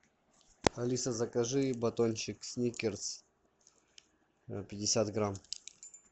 алиса закажи батончик сникерс пятьдесят грамм